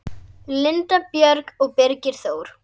Linda Björg og Birgir Þór.